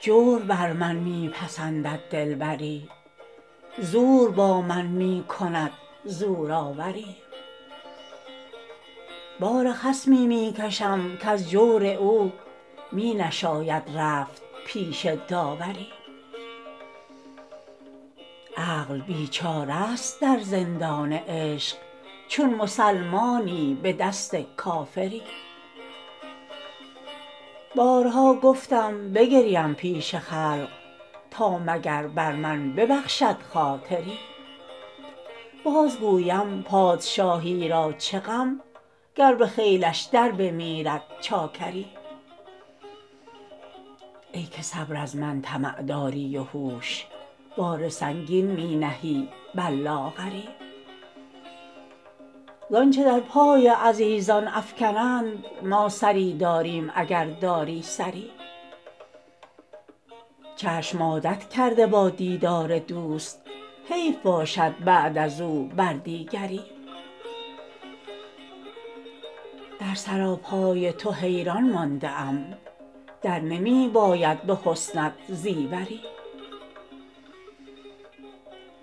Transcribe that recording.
جور بر من می پسندد دلبری زور با من می کند زورآوری بار خصمی می کشم کز جور او می نشاید رفت پیش داوری عقل بیچاره ست در زندان عشق چون مسلمانی به دست کافری بارها گفتم بگریم پیش خلق تا مگر بر من ببخشد خاطری باز گویم پادشاهی را چه غم گر به خیلش در بمیرد چاکری ای که صبر از من طمع داری و هوش بار سنگین می نهی بر لاغری زآنچه در پای عزیزان افکنند ما سری داریم اگر داری سری چشم عادت کرده با دیدار دوست حیف باشد بعد از او بر دیگری در سراپای تو حیران مانده ام در نمی باید به حسنت زیوری